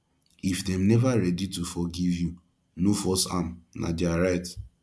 if dem neva ready to forgive you no force am na their right